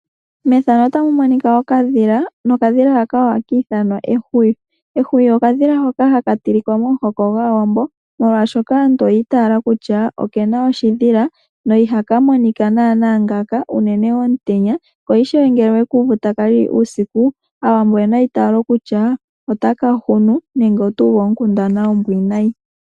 Ethano otali ulike okadhila nokadhila haka oha ki ithanwa ehwiyu. Ehwiyu okadhila hoka haka tilika momuhoko gwaawambo molwashoka aantu oyi itaala kutya okena oshidhila na ihaka monika nana ngaaka unene omutenya ko ishewe ngele owe ku uvu taka lili uusiku aawambo oyena eitalo kutya otaka hunu nenge oto uvu onkundana ombwinayi.